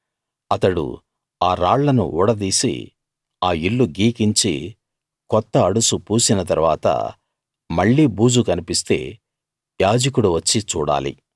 అతడు ఆ రాళ్లను ఊడదీసి ఆ ఇల్లు గీకించి కొత్త అడుసు పూసిన తరువాత మళ్ళీ బూజు కన్పిస్తే యాజకుడు వచ్చి చూడాలి